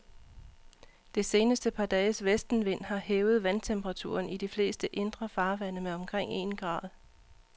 Det seneste par dages vestenvind har hævet vandtemperaturen i de fleste indre farvande med omkring en grad.